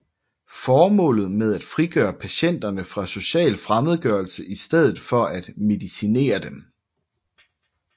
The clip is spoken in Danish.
Formålet var at frigøre patienterne fra social fremmedgørelse i stedet for at medicinere dem